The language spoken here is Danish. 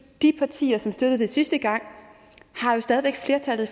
de partier som støttede det sidste gang